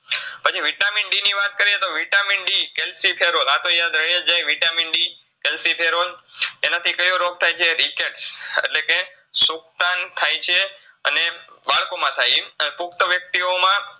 પછી Vitamin D ની વાત કરીયે તો Vitamin D Cholecalciferol આ તો યાદ રૈયજ જાય Vitamin D Cholecalciferol એનાથી કયો રોગ થાયછે Rickets એટલે કે સુકતાન થાયછે અને બાળકોમાં થાય ઈ પુક્ટ વ્યક્તિયોમાં